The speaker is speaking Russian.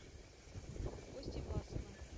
костей власовым